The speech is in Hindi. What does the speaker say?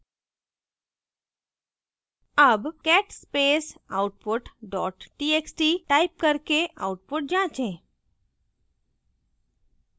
अब cat space output dot txt type करके output जाँचे